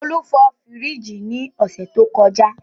Olú fọ fríìgì ní ọ̀sẹ̀ tó kọjá.